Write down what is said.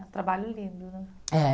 É um trabalho lindo, né? É